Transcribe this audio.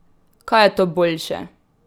Kaj je to boljše?